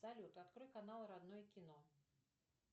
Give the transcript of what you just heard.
салют открой канал родное кино